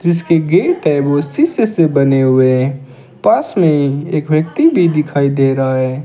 जिसकी गेट है वो उसी से बने हुए हैं पास में एक व्यक्ति भी दिखाई दे रहा है।